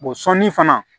sɔnni fana